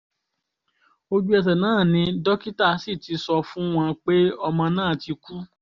ojú-ẹsẹ̀ náà ni dókítà sì ti sọ fún wọn pé ọmọ náà ti kú